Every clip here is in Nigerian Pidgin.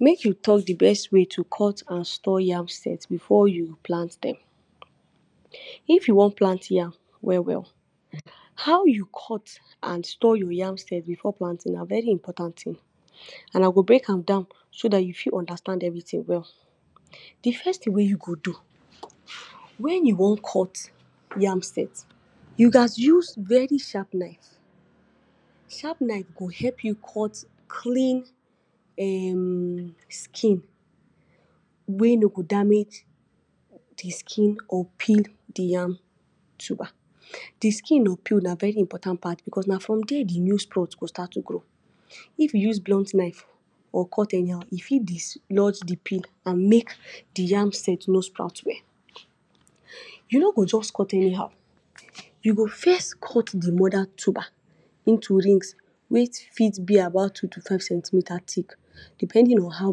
Make we talk de best way to cut and store yam stem before you plant dem. If you wan plant yam well well how you cut and store your yam stem before planting na very important thing and I go break am down so dat you fit understand everything well. de first thing wey you go do, when you wan cut your yam set you gas use very sharp knife sharp knife go help you caught cleans [um]skin wey no go damage de skin or peel de yam tuber. De skin or peel na very important part because na from there de crop go start to de grow if you use blunt knife or cut anyhow, e fit destroy de pill and make de yam set no sprout well. you no go just cut anyhow you go first cut de mother tuber into rings wey fit be about two to five cent meter thick depending on how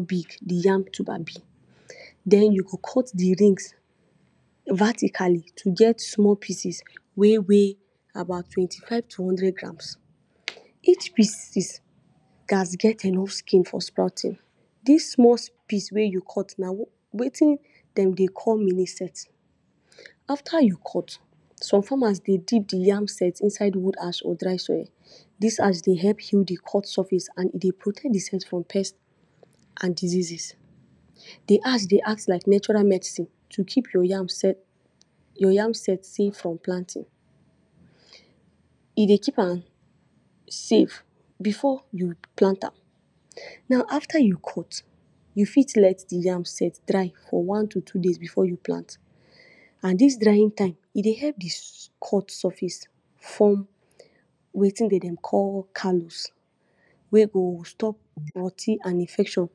big de yam tuber be den you go cut de rings vertically to get more pieces we weigh about twenty five to hundred grams each pieces gas get enough skin for sprouting dis small piece wey you cut na wetin dem dey call mini set after you cut some farmers dey deep de yam set inside wood ash or dry soil dis ash de help heal de cut surface and de protect de soil from pest and diseases. de Ash de acts like natural medicine to keep your yam set safe from planting e dey keep am safe before you plant am now after you cut you fit let de yam set dry for one to two days before you plant and dis drying time e de help de cut surface form wetin dem de call calories wey go sop rot ten and infection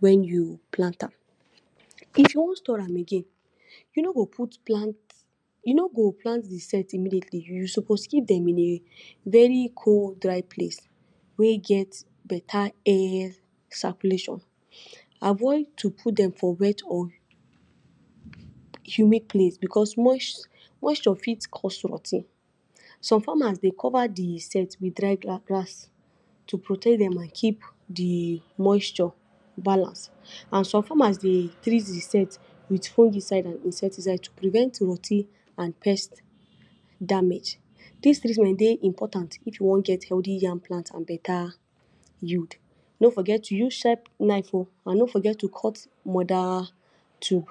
when you plant am. if you wan store am gain, you no go put plant, you no go plant de set immediately suppose give dem in a very cool dried please wey get better air circulation avoid to put dem for wet or humid please because moisture fit course rotting some farmers dey cover de set with dried grass to protect dem and keep de moisture balance and some farmers dey treat de set with fungicide and insecticide to prevent rotting and paste damage dis treatment day very important if you want get healthy yam plants and better yield no forget to use sharp knife and no forget to cut mother tube